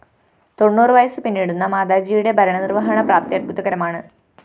തൊണ്ണൂറ് വയസ്സ് പിന്നിടുന്ന മാതാജിയുടെ ഭരണനിര്‍വഹണ പ്രാപ്തി അദ്ഭുതകരമാണ്